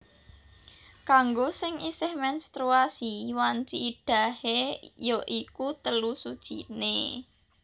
Kanggo sing isih menstruasi wanci iddahé ya iku telu suciné